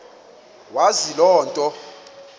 wazi loo nto